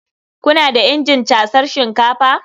Kuna da injin casar shinkafa?